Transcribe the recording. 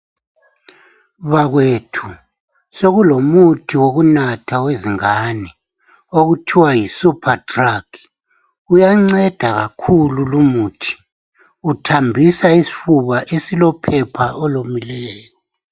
Bakwethu sokulomuthi wokunatha wezingane okuthiwa yi supha drugi uyanceda kakhulu lumuthi uthambisa isifuba esilophepha olomileyo.